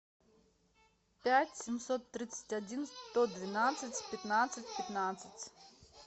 пять семьсот тридцать один сто двенадцать пятнадцать пятнадцать